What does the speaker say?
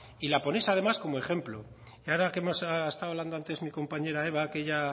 y la ponéis además como ejemplo y ahora que hemos estado hablando antes mi compañera eva que ella